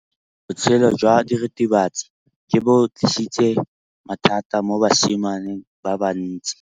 Botshelo jwa diritibatsi ke bo tlisitse mathata mo basimaneng ba bantsi.